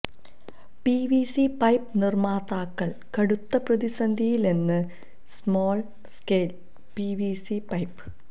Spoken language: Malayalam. പിവിസി പൈപ്പ് നിര്മാതാക്കള് കടുത്ത പ്രതിസന്ധിയിലെന്ന് സ്മോള് സ്കേല് പിവിസി പൈപ്പ്